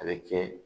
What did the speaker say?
A bɛ kɛ